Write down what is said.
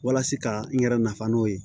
Walasa ka n yɛrɛ nafa n'o ye